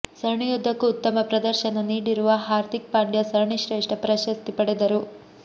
ಸರಣಿಯುದ್ದಕ್ಕೂ ಉತ್ತಮ ಪ್ರದರ್ಶನ ನೀಡಿರುವ ಹಾರ್ದಿಕ್ ಪಾಂಡ್ಯ ಸರಣಿ ಶ್ರೇಷ್ಠ ಪ್ರಶಸ್ತಿ ಪಡೆದರು